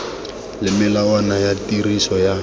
le melawana ya tiriso ya